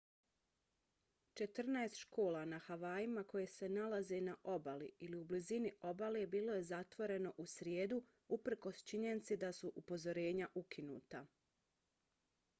četrnaest škola na havajima koje se nalaze na obali ili u blizini obale bilo je zatvoreno u srijedu uprkos činjenici da su upozorenja ukinuta